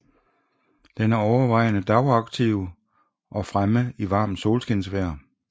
Den er overvejende dagaktiv og fremme i varmt solskinsvejr